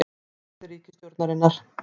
Beinagrind á borði ríkisstjórnar